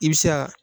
I bɛ se ka